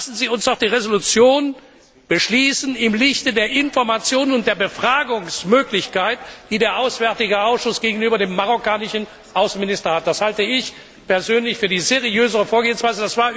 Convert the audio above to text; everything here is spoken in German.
Lassen Sie uns doch die Resolution im Lichte der Information und der Befragungsmöglichkeiten beschließen, die der Auswärtige Ausschuss gegenüber dem marokkanischen Außenminister hat. Das halte ich persönlich für die seriösere Vorgehensweise.